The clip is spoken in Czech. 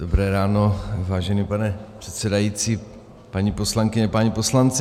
Dobré ráno, vážený pane předsedající, paní poslankyně, páni poslanci.